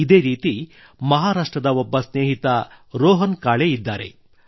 ಇದೇ ರೀತಿ ಮಹಾರಾಷ್ಟ್ರದ ಒಬ್ಬ ಸ್ನೇಹಿತ ರೋಹನ್ ಕಾಳೆ ಇದ್ದಾರೆ